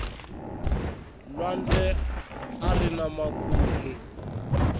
lwandle arina makumu